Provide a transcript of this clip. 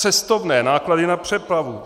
Cestovné, náklady na přepravu.